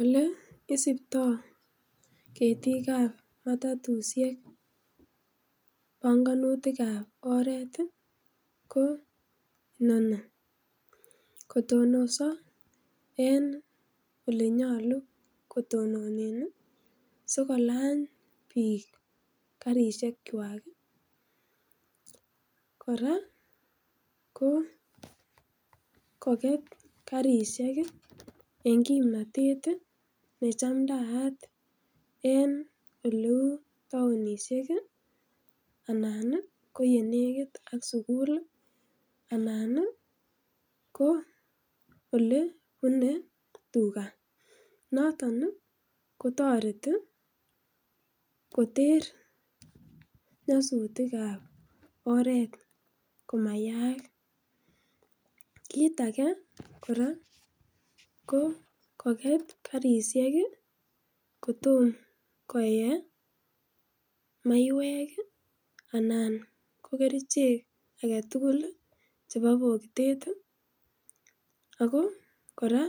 Ole isiptoo ketikab matatusiek panganutikab oret ii koo inoni. Kotonos en olenyolu kotononen sikolany biik karisiekchwak kora ko koket karisiek ii en kipnotet ii nechamndayat en oleu taonishek ii anan koyenekit ak sigul, anan ko olebunee tugaa, noton ii kotoreti koter nyosutikab oret komayaak. kit age kora koket karisiek kotom koyee maiwek ii anan ko kerichek alak tugul chebo bokitet, ako kora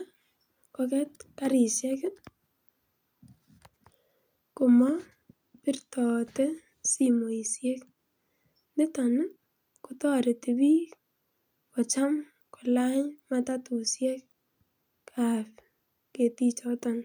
koket karisiek komo birtote simoisiek niton kotoret biik kocham kolany matatusiek ab ketichoton.